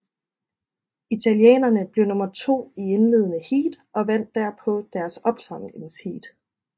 Italienerne blev nummer to i indledende heat og vandt derpå deres opsamlingsheat